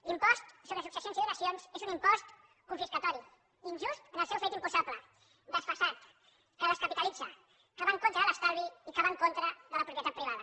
l’impost sobre successions i donacions és un impost confiscador injust en el seu fet imposable desfasat que descapitalitza que va en contra de l’estalvi i que va en contra de la propietat privada